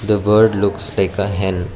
the bird looks like a hen.